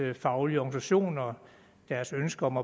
faglige organisation og deres ønske om